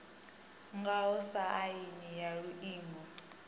ngaho sa aini ya iuingo